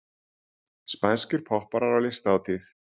Spænskir popparar á listahátíð